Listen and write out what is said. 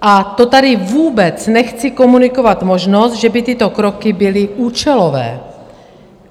A to tady vůbec nechci komunikovat možnost, že by tyto kroky byly účelové.